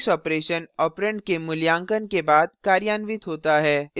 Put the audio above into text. prefix operation operand के मूल्यांकन के बाद कार्यान्वित होता है